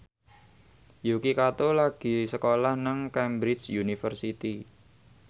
Yuki Kato lagi sekolah nang Cambridge University